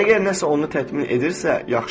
Əgər nəsə onu təmin edirsə, yaxşıdır.